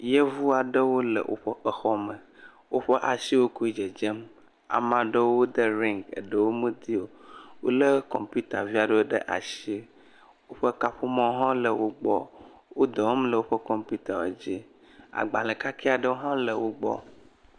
Yevu aɖewo le woƒe exɔ me. Woƒe asiwo koe dzedzem. Ame aɖewo de ringi eɖewo medi o.. Wole kɔnmpita via ɖewo ɖe asi. Woƒe kaƒomɔ hã le wo gbɔ. Wodɔ wɔm le woƒ kɔmpita dzi. Agbale kakɛ aɖewo hã l gbɔ.